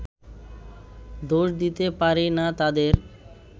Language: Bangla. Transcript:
দোষ দিতে পারি না তাঁদের